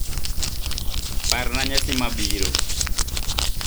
Parna nyasi mabiro.